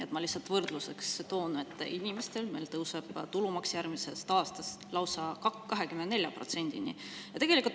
Ma toon lihtsalt võrdluseks, et inimestel tõuseb tulumaks järgmisest aastast lausa 24%‑ni.